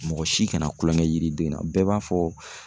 Mɔgɔ si kana kulonkɛ yiriden na bɛɛ b'a fɔ